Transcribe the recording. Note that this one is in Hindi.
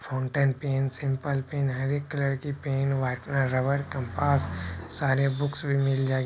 फाउंटेन पेन सिंपल पेन हरेक कलर की पेन व्हाइटनर रबर कंपास सारे बुक्स भी मिल जाएगी।